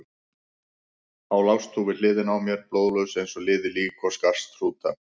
Þá lást þú við hliðina á mér, blóðlaus eins og liðið lík og skarst hrúta.